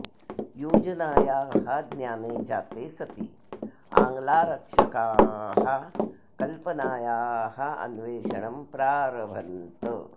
योजनायाः ज्ञाने जाते सति आङ्ग्लारक्षकाः कल्पनायाः अन्वेषणं प्रारभन्त